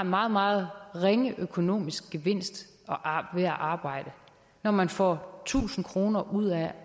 meget meget ringe økonomisk gevinst ved at arbejde når man får tusind kroner ud af